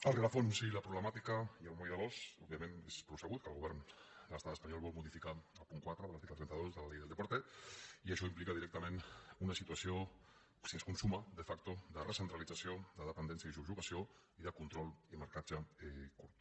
el rerefons i la problemàtica i el moll de l’os òbvia·ment és prou sabut que el govern de l’estat espanyol vol modificar el punt quatre de l’article trenta dos de la ley del deporte i això implica directament una situació si es consuma de factoi subjugació i de control i marcatge curt